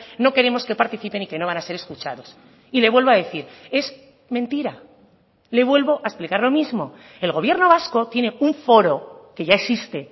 no queremos que participen y que no van a ser escuchados y le vuelvo a decir es mentira le vuelvo a explicar lo mismo el gobierno vasco tiene un foro que ya existe